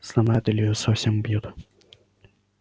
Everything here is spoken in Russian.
сломают или совсем убьют